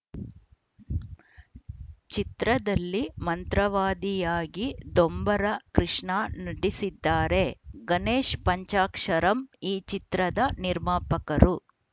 ಚಿತ್ರದಲ್ಲಿ ಮಂತ್ರವಾದಿಯಾಗಿ ದೊಂಬರ ಕೃಷ್ಣ ನಟಿಸಿದ್ದಾರೆ ಗಣೇಶ್‌ ಪಂಚಾಕ್ಷರಂ ಈ ಚಿತ್ರದ ನಿರ್ಮಾಪಕರು